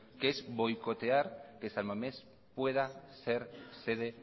que es boicotear que san mamés pueda ser sede